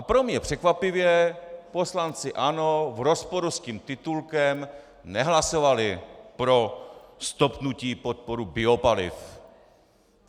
A pro mě překvapivě poslanci ANO v rozporu s tím titulkem nehlasovali pro stopnutí podpory biopaliv.